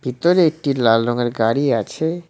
ভিতরে একটি লাল রঙের গাড়ি আছে।